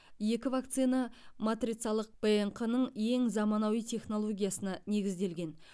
екі вакцина матрицалық рнқ ның ең заманауи технологиясына негізделген